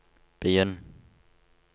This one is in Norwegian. begynn